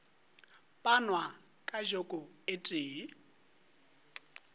panwa ka joko e tee